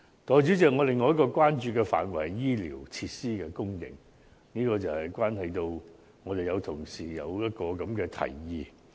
代理主席，另一個我關注的範疇是醫療設施的供應，這與一位同事所提出的建議有關。